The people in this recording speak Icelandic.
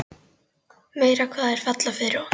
Meira hvað þær falla fyrir honum!